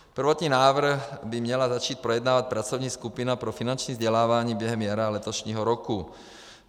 Prvotní návrh by měla začít projednávat pracovní skupina pro finanční vzdělávání během jara letošního roku.